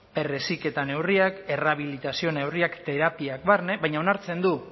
berreziketa neurriak errehabilitazio neurriak terapiak barne baina onartzen du